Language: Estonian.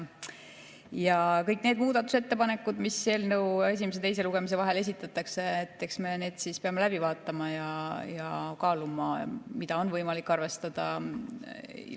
Ja kõik need muudatusettepanekud, mis eelnõu esimese ja teise lugemise vahel esitatakse, me peame läbi vaatama ja kaaluma, mida on võimalik arvestada.